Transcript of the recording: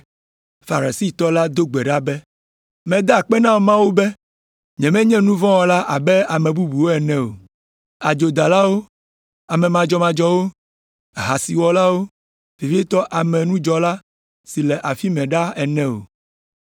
Farisitɔ la do gbe ɖa be, ‘Meda akpe na Mawu be nyemenye nu vɔ̃ wɔla abe ame bubuwo ene o, adzodalawo, ame madzɔmadzɔwo, ahasiwɔlawo, vevietɔ abe nudzɔla si le afi mɛ ɖa ene o.